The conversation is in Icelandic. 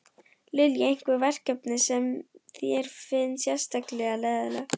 Lillý: Einhver verkefni sem þér finnst sérstaklega leiðinleg?